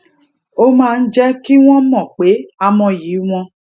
ó máa ń jé kí wón mò pé a mọyì wọn